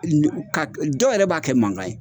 dɔw yɛrɛ b'a kɛ mankan ye.